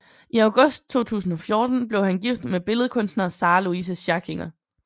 I august 2014 blev han gift med billedkunstner Sarah Louise Schackinger